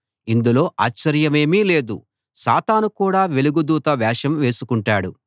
ఇందులో ఆశ్చర్యమేమీ లేదు సాతాను కూడా వెలుగు దూత వేషం వేసుకుంటాడు